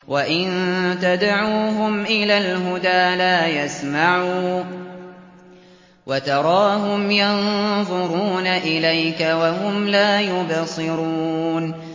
وَإِن تَدْعُوهُمْ إِلَى الْهُدَىٰ لَا يَسْمَعُوا ۖ وَتَرَاهُمْ يَنظُرُونَ إِلَيْكَ وَهُمْ لَا يُبْصِرُونَ